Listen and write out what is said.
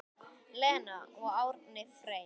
Lena og Árni Freyr.